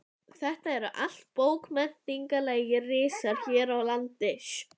Þetta eru allt bókmenntalegir risar hér í landi.